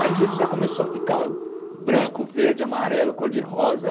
Aí já ele já começou a ficar branco, verde, amarelo, cor de rosa.